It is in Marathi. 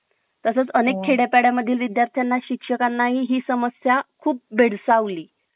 तसेच अनेक खेड्या पेंड्या मधील विद्यार्थ्यांना शिक्षकां ना ही समस्या खूप भेडसावत ली